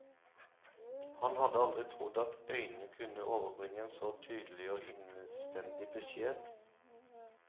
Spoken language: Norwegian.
Han hadde aldri trodd at øyne kunne overbringe en så tydelig og innstendig beskjed.